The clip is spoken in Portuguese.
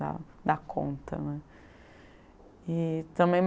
Da da conta né. E também